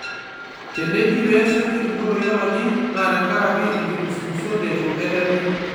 Teneji peesuji enkoitoi olaji, na tenkaraki inkimusumusot neitu etemi.